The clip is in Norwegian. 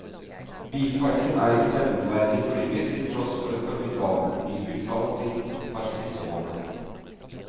Bilparken er ikke nevneverdig forynget til tross for et formidabelt nybilsalg de par siste årene.